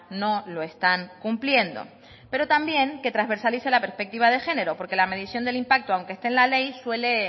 no lo están cumpliendo pero también que transversalice la perspectiva de género porque la medición del impacto aunque esté en la ley suele